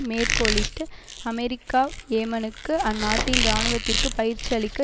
மேற்கோளிட்டு America யேமனுக்கு அந்நாட்டின் இராணுவத்திற்கு பயிற்சி அளிக்க